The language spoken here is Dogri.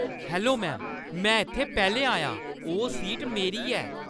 हैलो मैम, में इत्थै पैह्‌लें आई आं। ओह् सीट मेरी ऐ।